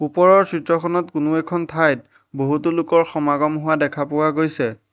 ওপৰৰ চিত্ৰখনত কোনো এখন ঠাইত বহুতো লোকৰ সমাগম হোৱা দেখা পোৱা গৈছে।